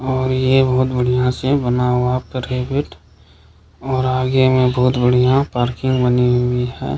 और ये बहुत बढ़िया से बना हुआ प्रेबिट और आगे में बहुत बढ़िया पार्किंग बनी हुई है।